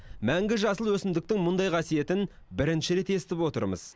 мәңгі жасыл өсімдіктің мұндай қасиетін бірінші рет естіп отырмыз